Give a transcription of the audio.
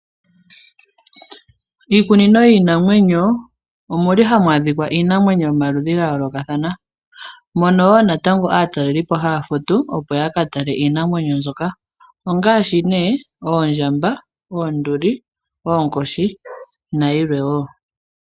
Miikunino yiinamwenyo omuli hamu adhika iinamwenyo yomaludhi ga yoolokathana ,mono woo natango aatalelipo haya futu opo ya katale iinamwenyo mbyoka ongaashi nee ,oondjamba, oonduli, oonkoshi nayilwe woo.